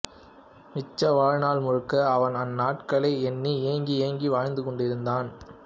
மிச்ச வாழ்நாள் முழுக்க அவன் அந்நாட்களை எண்ணி ஏங்கி ஏங்கி வாழ்ந்துகொண்டிருக்கிறான்